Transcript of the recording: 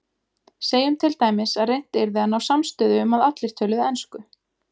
Segjum til dæmis að reynt yrði að ná samstöðu um að allir töluðu ensku.